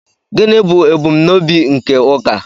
gịnị bụ ebumnobi nke ụka